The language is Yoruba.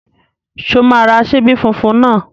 Ṣé o máa ra ṣíbí funfun náà?